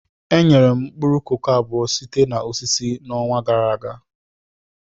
Enyere m mkpụrụ koko abụọ sitere na osisi n'ọnwa gara aga.